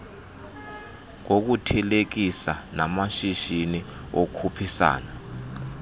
ngokuthelekisa namashishi okhuphisana